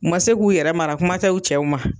U ma se k'u yɛrɛ mara kumatɛ u cɛw ma